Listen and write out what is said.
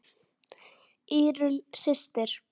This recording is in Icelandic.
Írunn systir.